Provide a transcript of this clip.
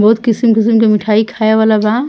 बहुत किसिम-किसिम के मिठाई खाये वाला बा।